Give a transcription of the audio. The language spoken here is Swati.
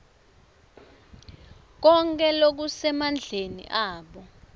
konkhe lokusemandleni abo